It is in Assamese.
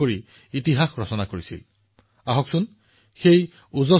সাধাৰণ মানুহৰ সন্মান আৰু প্ৰগতি মোৰ বাবে বহুত বেছি গুৰুত্বপূৰ্ণ